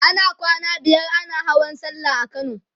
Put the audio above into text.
ana kwana biyar ana Hawan sallah a kano